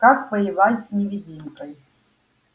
как воевать с невидимкой